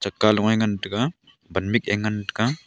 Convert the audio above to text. ka lung nge ngan tega wan mik ke ngan tega.